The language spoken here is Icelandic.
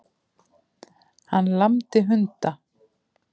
Hann lamdi hunda